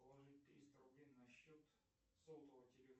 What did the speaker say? положить триста рублей на счет сотового телефона